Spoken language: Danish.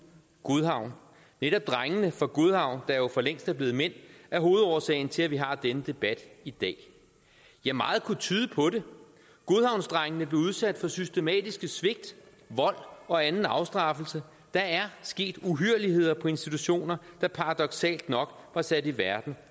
godhavn netop drengene fra godhavn der jo for længst er blevet mænd er hovedårsagen til at vi har denne debat i dag ja meget kunne tyde på det godhavnsdrengene blev udsat for systematiske svigt vold og anden afstraffelse der er sket uhyrligheder på institutioner der paradoksalt nok var sat i verden